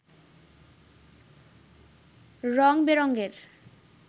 রঙ বেরঙের